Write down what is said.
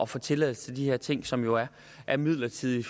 få tilladelse til de her ting som jo er midlertidige